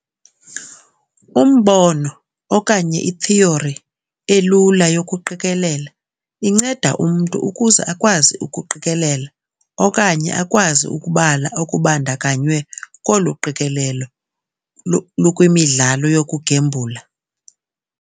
Umbono okanye ithiyori elula yokuqikelela inceda umntu ukuze akwazi ukuqikelela okanye akwazi ukubala okubandakanywe kolu qikelelo lukwimidlalo yokugembula.